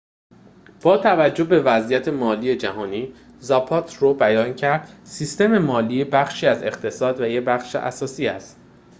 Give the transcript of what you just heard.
با توجه به وضعیت مالی جهانی زاپاترو بیان کرد سیستم مالی بخشی از اقتصاد و یک بخش اساسی است